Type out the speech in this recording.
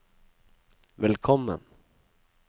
velkommen